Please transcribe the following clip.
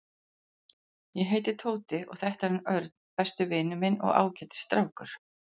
Ég heiti Tóti og þetta er hann Örn, besti vinur minn og ágætis strákur.